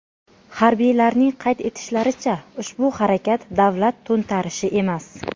Harbiylarning qayd etishlaricha, ushbu harakat davlat to‘ntarishi emas.